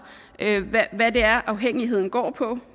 hvad det er afhængigheden går på